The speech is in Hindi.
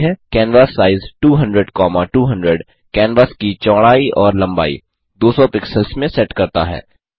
कैनवासाइज 200200 कैनवास की चौड़ाई और लंबाई 200 पिक्सल्स में सेट करता है